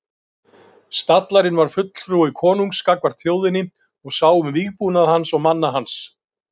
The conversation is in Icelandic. Stallarinn var fulltrúi konungs gagnvart þjóðinni og sá um vígbúnað hans og manna hans.